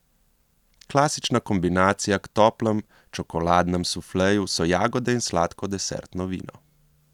Klasična kombinacija k toplemu čokoladnemu sufleju so jagode in sladko desertno vino.